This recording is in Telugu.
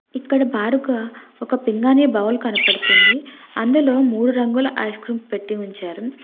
ఇక్కడ బారుగా ఒక పింగాని బౌల్ కనపడుతుంది అందులో మూడు రంగుల ఐస్ క్రీమ్ పెట్టి ఉంచారు.